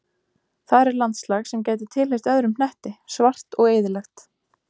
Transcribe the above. Þar er landslag sem gæti tilheyrt öðrum hnetti, svart og eyðilegt.